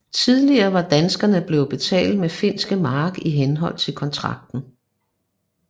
Tidligere var danskerne blevet betalt med finske mark i henhold til kontrakten